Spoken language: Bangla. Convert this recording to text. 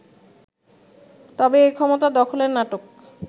তবে এই ক্ষমতা দখলের নাটক